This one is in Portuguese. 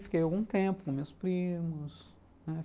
Fiquei algum tempo com meus primos, né.